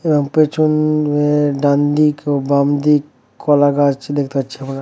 এবং পেছন-এ ডানদিক বামদিক কলা গাছ দেখতে পাচ্ছি আমরা ।